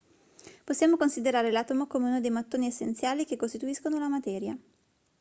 possiamo considerare l'atomo come uno dei mattoni essenziali che costituiscono la materia